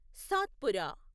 Satpura